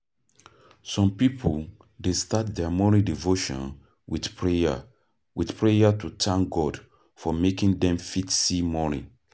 Some pipo dey start their morning devotion with prayer with prayer to thank God for making dem fit see morning